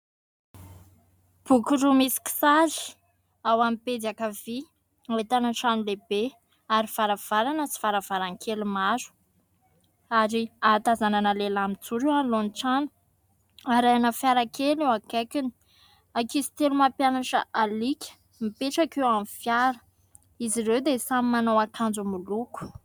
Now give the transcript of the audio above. Boky roa misy kisary ao amin'ny pejy ankavia ahitana trano lehibe ary varavarana sy varavarankely maro ary hahatazanana lehilahy mijoro eo anoloany trano arahina fiara kely eo akaikiny. Ankizy telo mampianatra alika mipetraka eo amin'ny fiara izy ireo dia samy manao akanjo miloko.